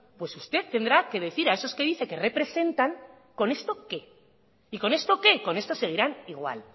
pues usted tendrá que decir a esos que dice que representan con esto qué y con esto qué con esto seguirán igual